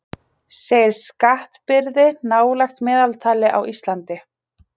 Segir skattbyrði nálægt meðaltali á Íslandi